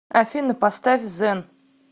афина поставь зэн